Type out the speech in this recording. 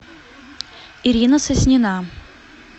ирина соснина